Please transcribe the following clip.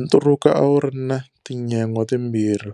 Nturuka a wu ri na tinyangwa timbirhi,